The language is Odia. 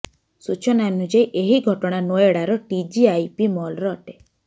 ସୂଚନା ଅନୁଯାୟୀ ଏହି ଘଟଣା ନୋଏଡାର ଟିଜିଆଇପି ମଲର ଅଟେ